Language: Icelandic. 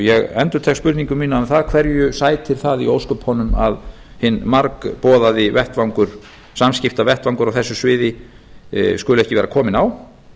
ég endurtek spurningu mína um það hverju sætir það í ósköpunum að hinn margboðaða vettvangur samskiptavettvangi á þessu sviði skuli ekki vera kominn á